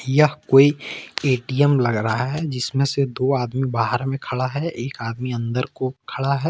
यह कोई ए_टी_एम लग रहा है जिसमें से दो आदमी बाहर में खड़ा है एक आदमी अंदर को खड़ा है ।